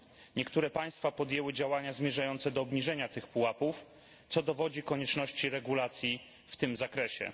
Niektóre państwa podjęły działania zmierzające do obniżenia tych pułapów, co dowodzi konieczności regulacji w tym zakresie.